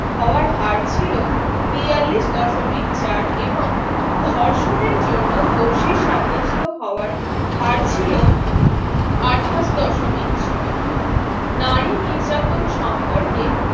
হওয়ার হার ছিল বিয়ল্লিস দশমিক চার এবং ধর্ষণের জন্য দোষী সাব্যস্ত হওয়ার হার ছিল আঠাশ দশমিক ছয় নারী নির্যাতন সম্পর্কে